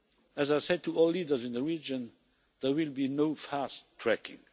As I said to all leaders in the region, there will be no fast tracking.